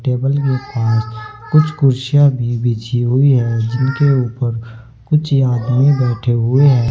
Table के पास कुछ कुर्सियां भी बिछी हुई हैं जिनके ऊपर कुछ आदमी बैठे हुए हैं।